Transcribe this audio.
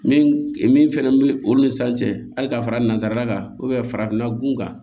Min min fɛnɛ bɛ olu ni san cɛ hali ka fara nanzara kan farafinna gun kan